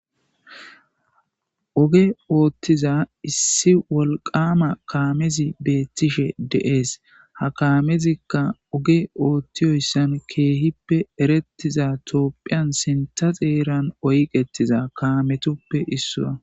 Oge oothtiza issi wolqama kaamezi beettishe deees ha kamezikka oge oothtiyoyssan keehippe erettiza toopphiyan sinta xeeran oyqetiza kaametuppe issua